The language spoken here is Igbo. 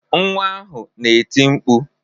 Nwa ahụ na-eti mkpu.